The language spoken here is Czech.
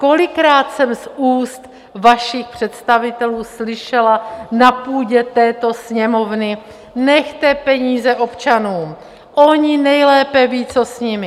Kolikrát jsem z úst vašich představitelů slyšela na půdě této Sněmovny: Nechte peníze občanům, oni nejlépe vědí, co s nimi.